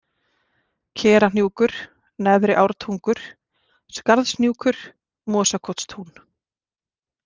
Kerahnjúkur, Neðri-Ártungur, Skarðshnjúkur, Mosakotstún